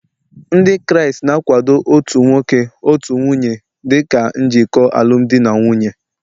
Ndị Kraịst na-akwado otu nwoke otu nwunye dị ka njikọ n'alụmdi na nwunye